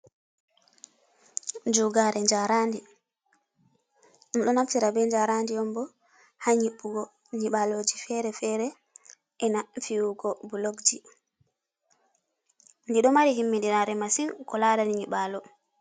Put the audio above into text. Jugare jarandi ɗom do naftira be jarandi on bo ha nyibugo nyibaloji fere-fere e na fi’yugo bulokji di ɗo mari himmi dinare masin ko larani nyiɓalo.